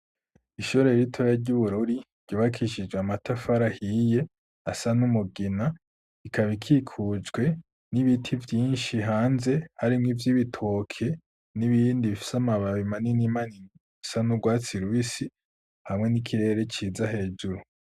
Ishure iritore ry'ubururi ryubakishijwe amatafari ahiye asa n'umugina ikaba ikikujwe n'ibiti vyinshi hanze harimwo iby ibitoke n'ibindi bifise amababi manini imanin asa n'ubwatsi ruisi hamwe n'ikirere ciza hejuru.